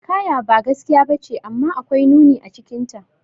Hikaya ba gaskiya bace, amma akwai nuni acikinta.